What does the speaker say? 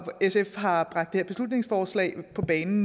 sf har bragt det her beslutningsforslag på bane